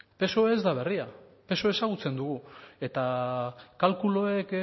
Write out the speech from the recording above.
psoe ez da berria psoe ezagutzen dugu eta kalkuluek